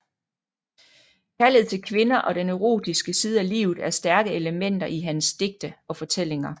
Kærlighed til kvinder og den erotiske side af livet er stærke elementer i hans digte og fortællinger